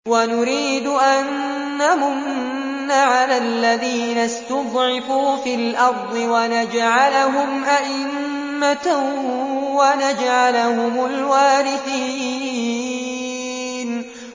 وَنُرِيدُ أَن نَّمُنَّ عَلَى الَّذِينَ اسْتُضْعِفُوا فِي الْأَرْضِ وَنَجْعَلَهُمْ أَئِمَّةً وَنَجْعَلَهُمُ الْوَارِثِينَ